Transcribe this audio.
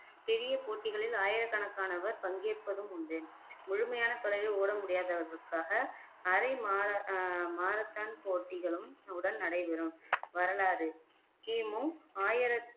பெரிய போட்டிகளில் ஆயிரக்கணக்கானவர் பங்கேற்பதும் உண்டு முழுமையான தொலைவில் ஓட முடியாதவர்களுக்காக அரை மா ஆஹ் மாரத்தான் போட்டிகளும் உடன் நடைபெறும் வரலாறு கிமு ஆயிரத்தி